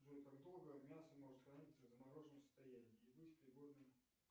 джой как долго мясо может храниться в замороженном состоянии и быть пригодным